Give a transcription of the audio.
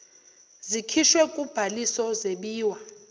zikhishiwe kubhaliso zebiwa